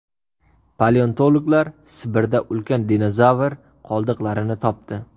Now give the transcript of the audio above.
Paleontologlar Sibirda ulkan dinozavr qoldiqlarini topdi.